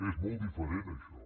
és molt diferent això